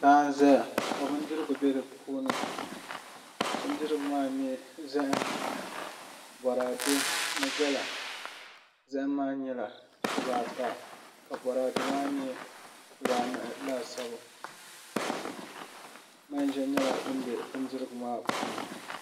Laa n ʒɛya ka bindirigu bɛ di puuni bindirigu maa n nyɛ boraadɛ zaham ni gala zaham maa nyɛla dibaata ka boraadɛ maa nyɛ dibaanahi laasabu manʒa nyɛla din bɛ bindirigu maa puuni